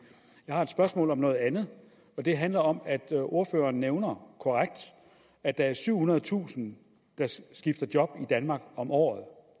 jeg har et spørgsmål om noget andet og det handler om at ordføreren korrekt nævner at der er syvhundredetusind der skifter job i danmark om året